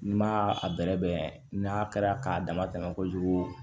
N'i ma a bɛrɛbɛn n'a kɛra k'a dama tɛmɛ kojugu